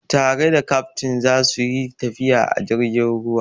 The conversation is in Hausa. Tare da kaftin za su yi tafiya a jirgin ruwa.